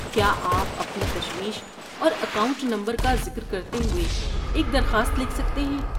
کیا آپ اپنی تشویش اور اکاؤنٹ نمبر کا ذکر کرتے ہوئے ایک درخواست لکھ سکتے ہیں؟